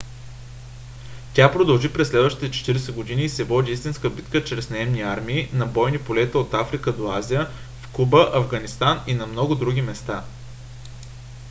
тя продължи през следващите 40 години и се води истинска битка чрез наемни армии на бойни полета от африка до азия в куба афганистан и на много други места